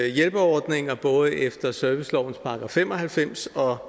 hjælpeordninger både efter servicelovens § fem og halvfems og